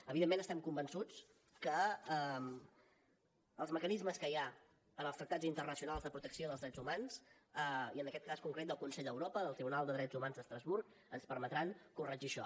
evidentment estem convençuts que els mecanismes que hi ha en els tractats internacionals de protecció dels drets humans i en aquest cas concret del consell d’europa del tribunal de drets humans d’estrasburg ens permetran corregir això